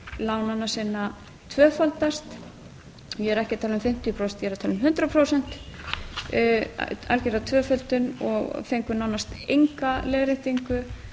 lánanna sinna tvöfaldast ég er ekki að tala um fimmtíu prósent ég er að tala um hundrað prósent algjöra tvöföldun og fengu nánast enga leiðréttingu